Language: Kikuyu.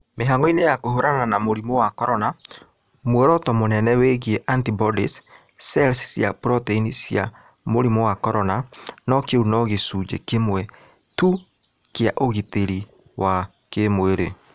Mĩhango-inĩ ya kũhũrana na mũrimũ wa corona, muoroto mũnene wĩgiĩ antibodies, (cells cia proteini cia mũrimũ wa corona) no kĩu no gĩcunjĩ kĩmwe tu kĩa ũgitĩri wa kĩĩmwĩrĩ.